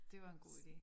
Dét var en god idé